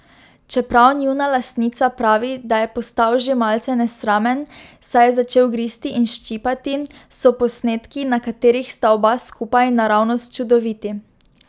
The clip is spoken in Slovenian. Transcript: Čeprav njuna lastnica pravi, da je postal že malce nesramen, saj je začel gristi in ščipati, so posnetki, na katerih sta oba skupaj, naravnost čudoviti.